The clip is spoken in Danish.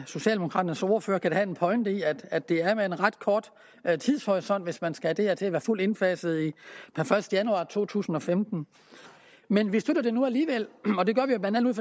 socialdemokraternes ordfører kan have en pointe i at det er med en ret kort tidshorisont hvis man skal have det her til at være fuldt indfaset per første januar to tusind og femten men vi støtter det nu alligevel og det gør vi blandt andet